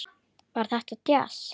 Var þetta djass?